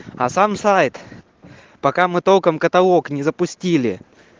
а сам сайт пока мы толком каталог не запустили